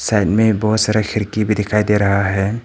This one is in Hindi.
में बहुत सारे खिड़की भी दिखाई दे रहा है।